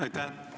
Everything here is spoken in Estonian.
Aitäh!